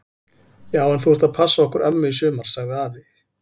Já en þú ert að passa okkur ömmu í sumar! sagði afi.